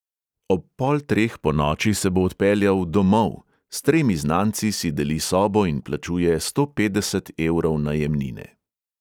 Ob pol treh ponoči se bo odpeljal "domov" – s tremi znanci si deli sobo in plačuje sto petdeset evrov najemnine.